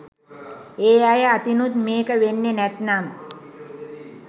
ඒ අය අතිනුත් මේක වෙන්නෙ නැත්නම්